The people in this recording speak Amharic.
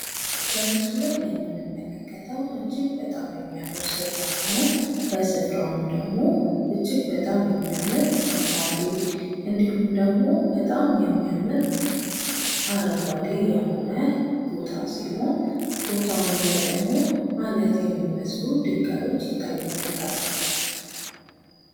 በምስሉ ላይ የምንመለከተው እጅግ በጣም የሚያምር ስፍራ ሲሆን፤ እጅግ በጣም የሚያምር ፏፏቴ እንዲሁም ደግሞ እጅግ በጣም የሚያምር አረንጓዴ የሆነ ቦታ ሲሆን ቦታውም ላይ ደግሞ አለት የሚመስሉ ድንጋዎች ይታዩበታል።